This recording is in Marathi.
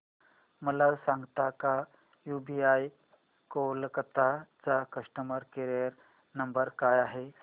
मला सांगता का यूबीआय कोलकता चा कस्टमर केयर नंबर काय आहे